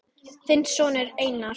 Þinn sonur Einar.